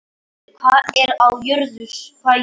Hún þáði það með þökkum og þau héldu göngunni áfram.